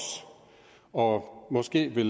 og måske vil